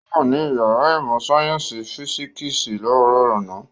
Ó wà ní ìyàrá ìmọ̀-sáyẹ́ńsì físíkísì láàárọ̀ àná.